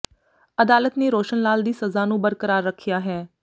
ਅਦਾਲਤ ਨੇ ਰੋਸ਼ਨ ਲਾਲ ਦੀ ਸਜ਼ਾ ਨੂੰ ਬਰਕਰਾਰ ਰੱਖਿਆ ਹੈ